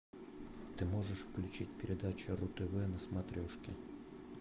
ты можешь включить передачу ру тв на смотрешке